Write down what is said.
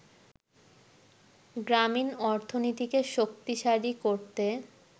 গ্রামীণ অর্থনীতিকে শক্তিশালী করতে